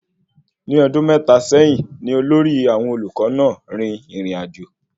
Ní ọdun mẹ́ta sẹyìn ní olórí àwọn olùkọ náà rìn ìrìnàjò